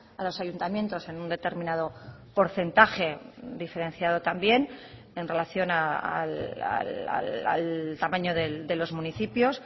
a los ayuntamientos en un determinado porcentaje diferenciado también en relación al tamaño de los municipios